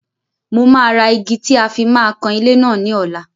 Mó máa ra igi tí a fi máa kan ilé náà ní ọ̀la.